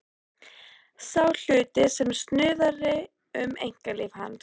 Sá hluti sem snuðraði um einkalíf hans.